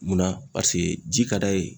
Munna paseke ji ka d'a ye